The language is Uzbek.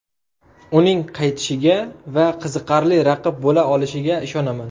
Uning qaytishiga va qiziqarli raqib bo‘la olishiga ishonaman.